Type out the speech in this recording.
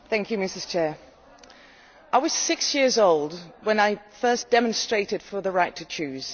Madam President, I was six years old when I first demonstrated for the right to choose.